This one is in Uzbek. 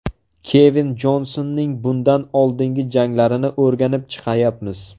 Kevin Jonsonning bundan oldingi janglarini o‘rganib chiqayapmiz.